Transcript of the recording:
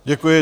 Děkuji.